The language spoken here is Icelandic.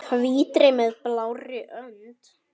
Hvítri með blárri rönd.